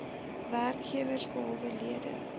werkgewers behalwe lede